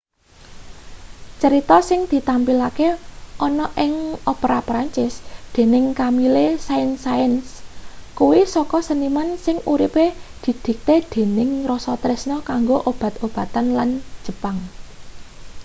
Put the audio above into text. cerita sing ditampilke ana ing opera perancis dening camille saint-saens kuwi saka seniman sing uripe didikte dening rasa tresna kanggo obat-obatan lan jepang